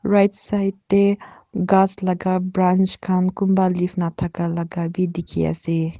right side tae ghas laka branch khan kunba leaves nathakalaka bi dikhiase.